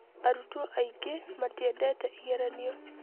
Arutwo aingĩ matiendete igeranio.